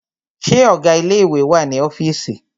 Ṣé ọgá ilé ìwé wà ní ọ́fìísì?